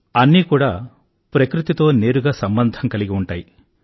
అన్నీ కూడా ప్రకృతితో నేరుగా సంబంధం కలిగి ఉంటాయి